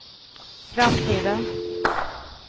framtiden